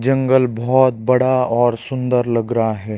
जंगल बहोत बड़ा और सुंदर लग रहा है।